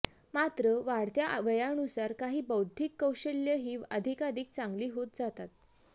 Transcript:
मात्र वाढत्या वयानुसार काही बौद्धिक कौशल्यं ही अधिकाधिक चांगली होत जातात